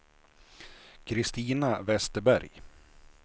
Christina Vesterberg